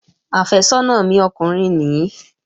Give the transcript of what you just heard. Àfẹ́sọ́nà mi ọkùnrin nìí